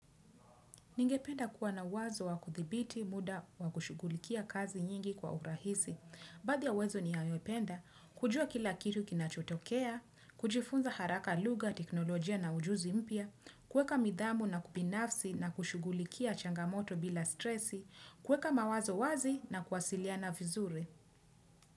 Ningependa kuwa na wazo wa kuthibiti muda wa kushugulikia kazi nyingi kwa urahisi. Baadhi ya uwezo ninayopenda, kujua kila kitu kinachotokea, kujifunza haraka lugha, teknolojia na ujuzi mpya, kuweka nidhamu na kubinafsi na kushughulikia changamoto bila stresi, kuweka mawazo wazi na kuwasiliana vizuri.